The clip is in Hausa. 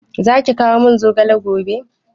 Zaki kawo min zogale gobe?